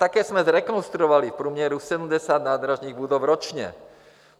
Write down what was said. Také jsme zrekonstruovali v průměru 70 nádražních budov ročně.